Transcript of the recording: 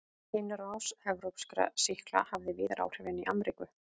Innrás evrópskra sýkla hafði víðar áhrif en í Ameríku.